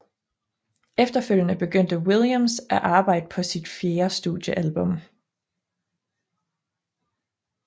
Efterfølgende begyndte Williams at arbejde på sit fjerde studiealbum